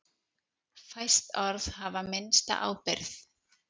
Fæst orð hafa minnsta ábyrgð.